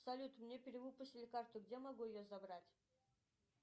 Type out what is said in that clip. салют мне перевыпустили карту где могу ее забрать